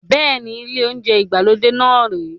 Bẹ́ẹ̀ni, ile ounjẹ ìgbàlódé náà rè é